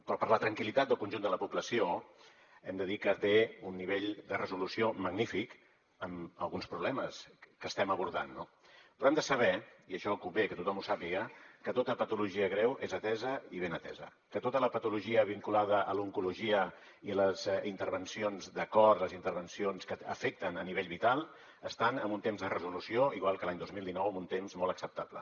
però per la tranquil·litat del conjunt de la població hem de dir que té un nivell de resolució magnífic amb alguns problemes que estem abordant no però hem de saber i això convé que tothom ho sàpiga que tota patologia greu és atesa i ben atesa que tota la patologia vinculada a l’oncologia i a les intervencions de cor les intervencions que afecten a nivell vital estan en un temps de resolució igual que l’any dos mil dinou en un temps molt acceptable